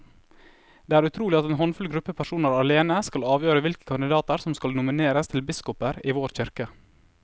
Det er utrolig at en håndfull gruppe personer alene skal avgjøre hvilke kandidater som skal nomineres til biskoper i vår kirke.